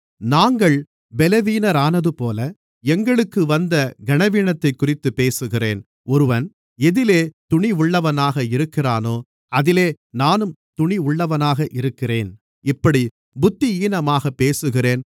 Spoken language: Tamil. நாங்கள் பலவீனரானதுபோல எங்களுக்கு வந்த கனவீனத்தைக்குறித்துப்பேசுகிறேன் ஒருவன் எதிலே துணிவுள்ளவனாக இருக்கிறானோ அதிலே நானும் துணிவுள்ளவனாக இருக்கிறேன் இப்படிப் புத்தியீனமாகப் பேசுகிறேன்